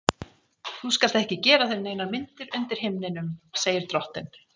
Þú skalt ekki gera þér neinar myndir undir himninum, segir drottinn.